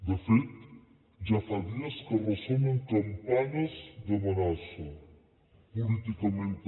de fet ja fa dies que ressonen campanes d’amenaça políticament també